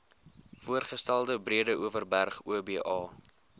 voorgestelde breedeoverberg oba